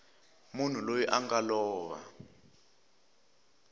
munhu loyi a nga lova